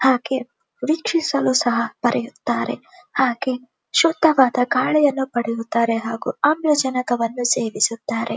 ಹಾಗೆ ವ್ರಿಕ್ಷಿಸಲು ಸಲು ಸಹ ಪಡೆಯುತಿದ್ದರೆ ಹಾಗು ಶುದ್ಧವಾದ ಗಾಳಿಯನ್ನು ಪಡೆಯುತ್ತಾರೆ ಹಾಗು ಆಮ್ಲಜನಕವನ್ನು ಸೇವಿಸಿದರೆ.